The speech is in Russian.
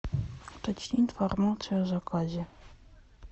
уточни информацию о заказе